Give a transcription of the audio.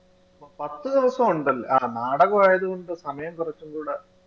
പത്തുദിവസം ഉണ്ടല്ലേ ആഹ് നാടകം ആയത് കൊണ്ട് സമയം കൊറച്ചും കൂട